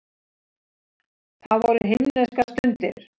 Það voru himneskar stundir.